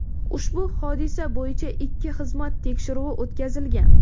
ushbu hodisa bo‘yicha ichki xizmat tekshiruvi o‘tkazilgan.